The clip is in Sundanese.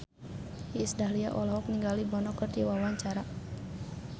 Iis Dahlia olohok ningali Bono keur diwawancara